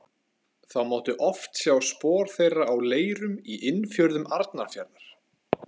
Þá mátti oft sjá spor þeirra á leirum í innfjörðum Arnarfjarðar.